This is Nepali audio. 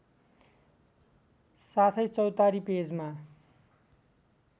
साथै चौतारी पेजमा